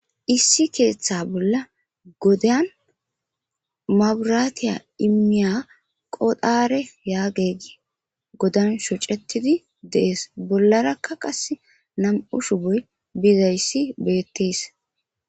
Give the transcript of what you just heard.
Issi keetha bolla godan maburaatiya immiya qodhaare yaagegi godan shocetidi dees bollarakka qas na'mu shuboy bizayssi beettees